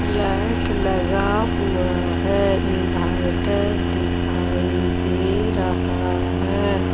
Light लगा हुआ है इनवर्टर दिखाई दे रहा है।